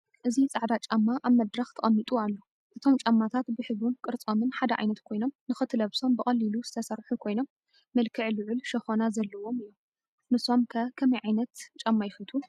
እዚ ጻዕዳ ጫማ ኣብ መድረኽ ተቐሚጡ ኣሎ። እቶም ጫማታት ብሕብሩን ቅርጾምን ሓደ ዓይነት ኮይኖም፡ ንኽትለብሶም ብቐሊሉ ዝተሰርሑ ኮይኖም፡ መልክዕ ልዑል ሸኾና ዘለዎም እዮም። ንሶም ከ ከመይ ዓይነት ጫማ ይፈትው?